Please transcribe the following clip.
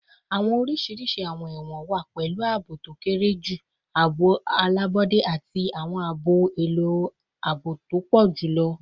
Awọn oriṣi awọn ẹwọn wa, pẹlu aabo to kere ju, aabo alabọde, ati awọn ohun elo aabo to pọ julọ